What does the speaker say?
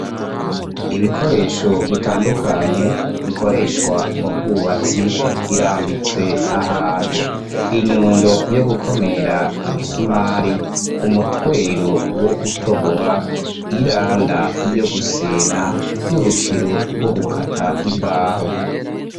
Ibikoresho bitandukanye, bikoreshwa mu bwubatsi birambitswe ahantu. Inyundo yo gukomera imisumari, umutwero wo gutobora, iranda yo gusena, n'urukero rwo gukata imbaho.